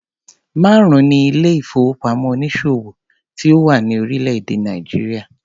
Márùn-ún ni ilé ìfowópamọ́ onísòwò tí ó wà ní orílẹ̀-èdè Nàìjíríà.